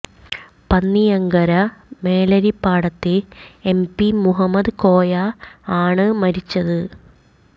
പന്നിയങ്കര മേലേരിപ്പാടത്തെ M P Muhammad Koya ആണ് മരിച്ചത്